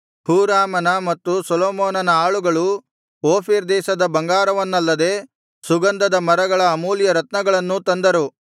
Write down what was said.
ಹೂರಾಮನ ಮತ್ತು ಸೊಲೊಮೋನನ ಆಳುಗಳು ಓಫೀರ್ ದೇಶದ ಬಂಗಾರವನ್ನಲ್ಲದೆ ಸುಗಂಧದ ಮರಗಳ ಅಮೂಲ್ಯರತ್ನಗಳನ್ನೂ ತಂದರು